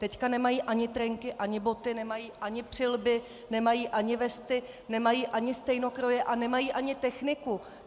Teď nemají ani trenky, ani boty, nemají ani přílby, nemají ani vesty, nemají ani stejnokroje a nemají ani techniku.